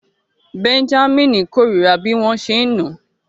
Bẹ́ńjámínì kórìíra bí wọ́n ṣe ń nà án